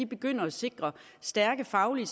begynder at sikre stærke faglige